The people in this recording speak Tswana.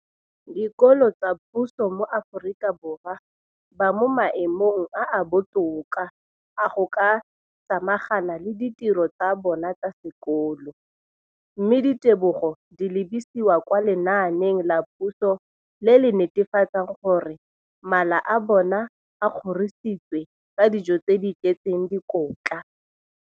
dikolo tsa puso mo Aforika Borwa ba mo maemong a a botoka a go ka samagana le ditiro tsa bona tsa sekolo, mme ditebogo di lebisiwa kwa lenaaneng la puso le le netefatsang gore mala a bona a kgorisitswe ka dijo tse di tletseng dikotla.